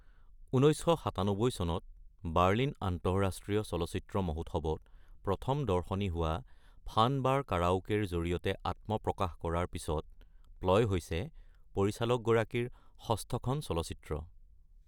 ১৯৯৭ চনত বাৰ্লিন আন্তঃৰাষ্ট্ৰীয় চলচ্চিত্ৰ মহোৎসৱত প্ৰথম দৰ্শনী হোৱা ফান বাৰ কাৰাওকেৰ জৰিয়তে আত্মপ্ৰকাশ কৰাৰ পিছত প্লয় হৈছে পৰিচালকগৰাকীৰ ষষ্ঠখন চলচ্চিত্ৰ।